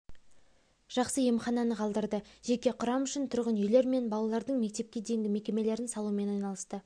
жақсы емхананы қалдырды жеке құрам үшін тұрғын үйлер мен балалардың мектепке дейінгі мекемелерін салумен айналысты